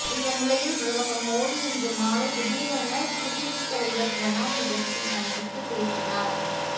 இந்த நிலையில் பிரதமர் மோடி இன்று மாலை திடீரென குடியரசுத் தலைவர் பிரணாப் முகர்ஜியை சந்தித்து பேசினார்